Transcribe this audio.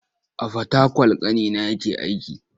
A Fatakwal ƙanina yake aiki.